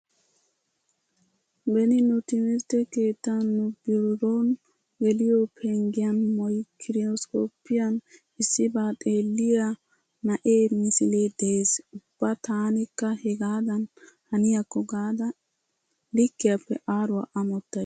Beni nu timirtte keettan nu biron geliyo penggiyan maykiroskkoppiyan issibaa xeelliya na'ee misilee de'es. Ubba taanikka hegaadan haniyakko gaada likkiyappe aaruwa amottays.